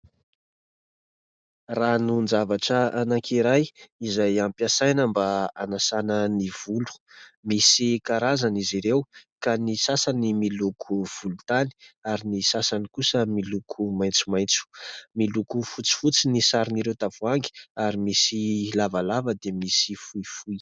Ranon-javatra anankiray izay ampiasaina mba hanasana ny volo. Misy karazany izy ireo ka ny sasany miloko volontany ary ny sasany kosa miloko maintsomaintso. Miloko fotsifotsy ny saron'ireo tavoangy ary misy lavalava dia misy fohifohy.